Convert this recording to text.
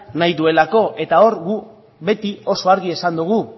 nahi duelako eta hor gu beti oso argi esan dugu